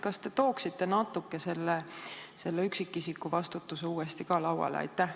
Kas te tooksite selle üksikisiku vastutuse natuke uuesti lauale?